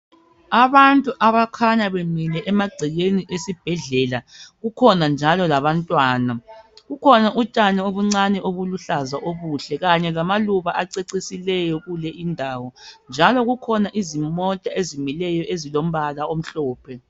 Abantu abakhanya bemile amagcekeni esibhedlela kukhona njalo labantwana kukhona utshani obuncani obuluhlaza obuhle kanye lamaluba acecisileyo kuleyo indawo njalo kukhona izimota ezimileyo ezilombala omhlophe.